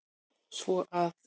Svo að.